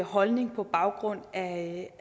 holdning på baggrund af